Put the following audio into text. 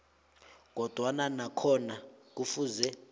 kodwana nakhona kufuze